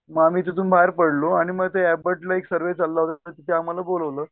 मग आम्ही तिथून बाहेर पडलो आणि मग ते ऐपर्डला एक सर्वे चालला होता तिथे आम्हाला बोलवलं.